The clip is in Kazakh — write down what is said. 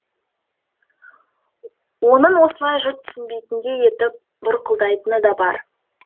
оның осылай жұрт түсінбейтіндей етіп бұрқылдайтыны да бар